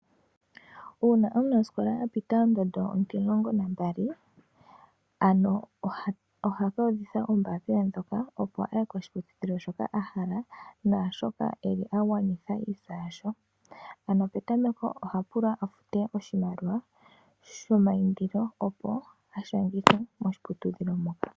Uuna omunasikola apita ondondo ontimulongo nambali ohe ku udhitha ombaapila ndjoka . Opo aye koshiputudhilo shoka ahala naashoka eli agwanitha iintsa yasho. Ano petameko oha pulwa afute oshimaliwa shomayindilo opo ashangithwe moshiputudhilo moka.